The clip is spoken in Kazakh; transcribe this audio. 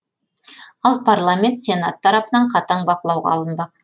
ал парламент сенаты тарапынан қатаң бақылауға алынбақ